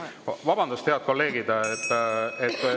Vabandust, head kolleegid!